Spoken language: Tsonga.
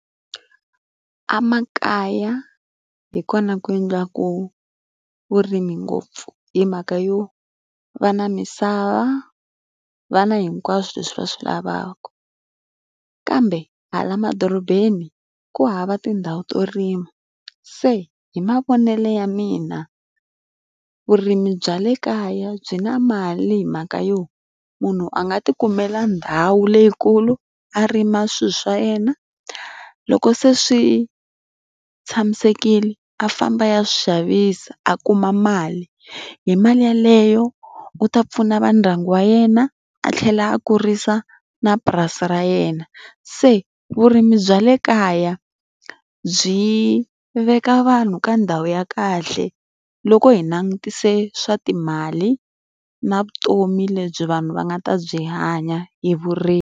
Amakaya hi kona ku endliwaka vurimi ngopfu. Hi mhaka yo, va na misava. va na hinkwaswo leswi va swi lavaka. Kambe hala madorobeni ku hava tindhawu to rima. Se hi mavonele ya mina, vurimi bya le kaya byi na mali hi mhaka yo munhu a nga ti kumela ndhawu leyikulu, a rima swilo swa yena, loko se swi tshamisekile, a famba ya swi xavisa a kuma mali. Hi mali ya leyo u ta pfuna va ndyangu wa yena, a tlhela a kurisa na purasi ra yena. Se vurimi bya le kaya byi veka vanhu ka ndhawu ya kahle, loko hi langutise swa timali, na vutomi lebyi vanhu va nga ta byi hanya hi vurimi.